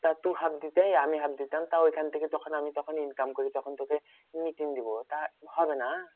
তা তু half দিতে আমি half দিতাম। তা ঐখান থেকে যখন আমি তখন income করি তখন তোকে মিটিয়েন দিবো। তা হবে না?